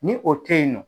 Ni o tɛ yen nɔ